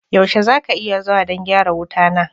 Yaushe za ka iya zuwa don gyara wuta na?